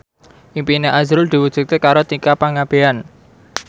impine azrul diwujudke karo Tika Pangabean